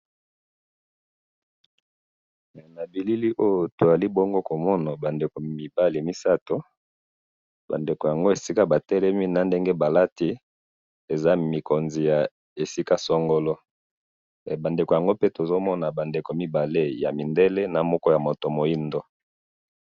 Elili oyo tozomona eza bandeko mibali misatu, bandeko yango esika batelemi, na ndege balati eza mikonzi ya esika songolo, bandeko yango pe tozomona eza bandeko mibale yamindele, namoko ya moto mwindu